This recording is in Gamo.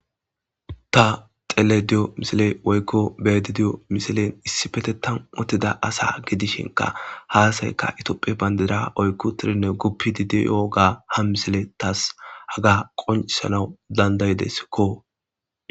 Ta xele diyo misile woykko bedi diyo misilen issi fetetan otida asa gidishinka haasayka itophe bayndida oykku tirinne guppidi diyoga ha misile taas haga qoncisanawu dandayideskko.